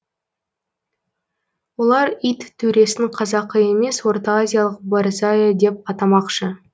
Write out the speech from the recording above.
олар ит төресін қазақы емес ортаазиялық борзая деп атамақшы